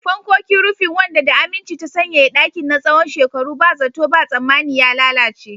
Fankokin rufin, wanda da aminci ta sanyaya ɗakin na tsawon shekaru, ba zato ba tsammani ya lalace.